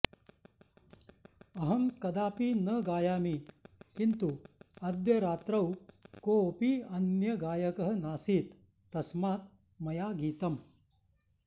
अहं कदापि न गायामि किन्तु अद्य रात्रौ कोऽपि अन्यः गायकः नासीत् तस्मात् मया गीतम्